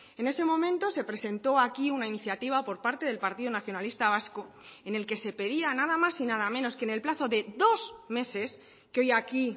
en ese momento se presentó aquí una iniciativa por parte del partido nacionalista vasco en el que se pedía nada más y nada menos que en el plazo de dos meses que hoy aquí